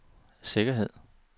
sikkerhed